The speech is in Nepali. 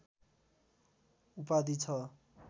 उपाधि छ